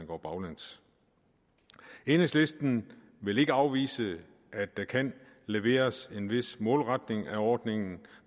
går baglæns enhedslisten vil ikke afvise at der kan leveres en vis målretning af ordningen